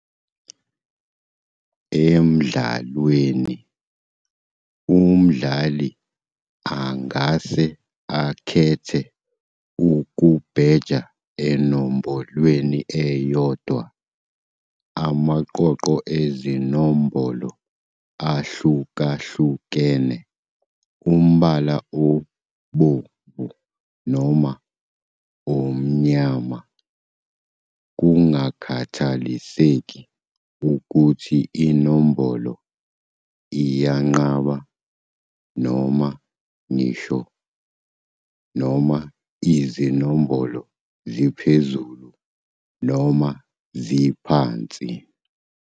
Emdlalweni, umdlali angase akhethe ukubheja enombolweni eyodwa, amaqoqo ezinombolo ahlukahlukene, umbala obomvu noma omnyama, kungakhathaliseki ukuthi inombolo iyinqaba noma ngisho, noma izinombolo ziphezulu noma ziphansi.